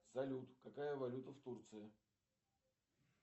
салют какая валюта в турции